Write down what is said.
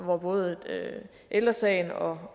og både ældre sagen og